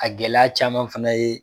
A gɛlɛya caman fana ye